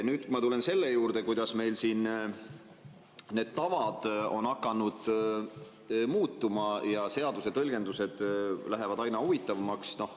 Nüüd ma tulen selle juurde, kuidas meil siin need tavad on hakanud muutuma ja seaduse tõlgendused lähevad aina huvitavamaks.